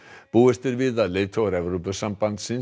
búist er við að leiðtogar Evrópusambandsríkja